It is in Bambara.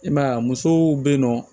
I m'a ye a musow be yen nɔ